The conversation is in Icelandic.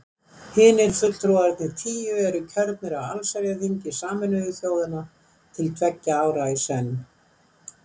Hinir fulltrúarnir tíu eru kjörnir af allsherjarþingi Sameinuðu þjóðanna til tveggja ára í senn.